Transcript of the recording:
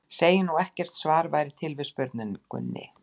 Segjum nú, að ekkert svar væri til við spurningunni.